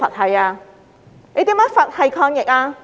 他如何"佛系"抗疫？